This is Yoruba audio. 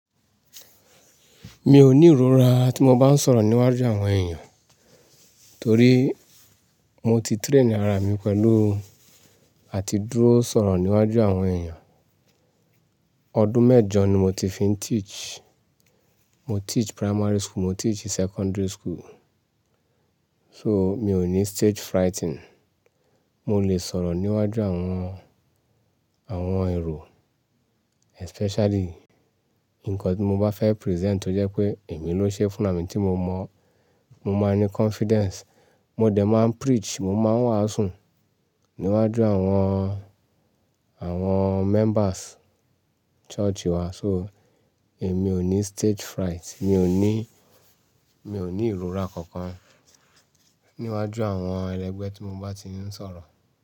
Mi ò ní ìrora tí mo bá ń sọ̀rọ̀ níwájú àwọn èèyàn, torí mo ti train ara mi pẹ̀lú àti dúró sọ̀rọ̀ níwájú àwọn èèyàn. Ọdún mẹ́jọ ni mo ti fi ń teach. Mo teach primary school, mo teach secondary school. So mi ò ní stage frightening. Mo lè sọ̀rọ̀ níwájú àwọn, àwọn èrò especially nǹkan tí mo bá fẹ́ present tó jẹ́ pé èmi ló ṣe funra mi tí mo mọ̀, mo máa ní confidence. Mo dẹ̀ máa ń preach, mo máa wàásù níwájú àwọn, àwọn members church wa. So èmi ò ní stage fright. Mi ò ní, mi ò ní ìrora kankan níwájú àwọn ẹlẹgbẹ́ tí mo bá ti ń sọ̀rọ̀